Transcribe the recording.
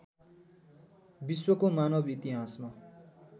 विश्वको मानव इतिहासमा